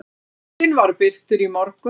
Listinn var birtur í morgun.